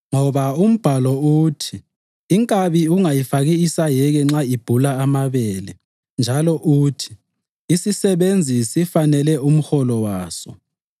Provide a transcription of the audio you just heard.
Ngoba umbhalo uthi: “Inkabi ungayifaki isayeke nxa ibhula amabele,” + 5.18 UDutheronomi 25.4 njalo uthi, “Isisebenzi sifanele umholo waso.” + 5.18 ULukha 10.7